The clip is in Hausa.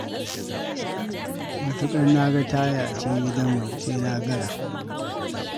Matuƙar na ga taya a cikin gidanmu sai na gara.